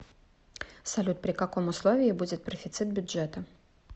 салют при каком условии будет профицит бюджета